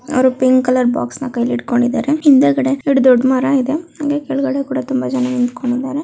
ಅವ್ರು pink colour box ನಾ ಕೈಯಲ್ಲಿ ಹಿಡ್ಕೊಂಡಿದ್ದಾರೆ ಹಿಂದೇಗದೆ ಎರಡು ದೊಡ್ಡ ಮರ ಇದೆ ಹಂಗೆ ಕೆಲಗಗಡೆ ಕೂಡ ತುಂಬಾ ಜನ ನಿಂತೊಕೊಂಡಿದಾ.